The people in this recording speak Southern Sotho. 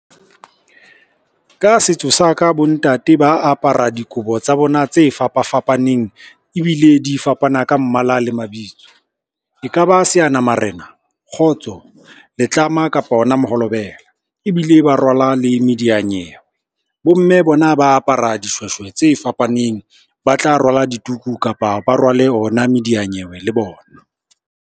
Ka setso sa ka bontate ba apara dikobo tsa bona tse fapafapaneng ebile di fapana ka mmala le mabitso. E ka ba seanamarena, kgotso, letlama kapa ona moholobela ebile ba rwala le mediyanyewe. Bomme bona ba apara dishweshwe tse fapaneng, ba tla rwale dituku kapa ba rwale ona mediyanyewe le bona.